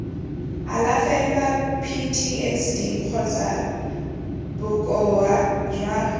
alafelwa ptsd kgotsa bokoa jo